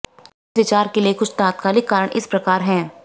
इस विचार के लिए कुछ तात्कालिक कारण इस प्रकार हैं